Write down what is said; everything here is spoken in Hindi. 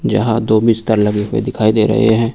यहां दो बिस्तर लगे हुए दिखाई दे रहे हैं।